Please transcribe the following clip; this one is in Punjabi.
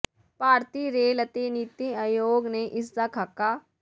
ਭਾਰਤੀ ਰੇਲ ਅਤੇ ਨੀਤੀ ਆਯੋਗ ਨੇ ਇਸ ਦਾ ਖ਼ਾਕਾ